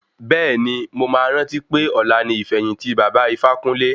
Bẹ́ẹ̀ni, mo máa rántí pé ọ̀la ni ìfẹ̀yìntì baba Ifákúnle.